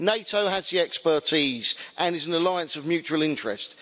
NATO has the expertise and is an alliance of mutual interest.